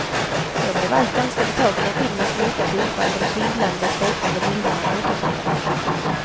Jag blev allt ganska betagen av filmens mjuka tonfall, de svindlande, svepande bilderna, återseendet.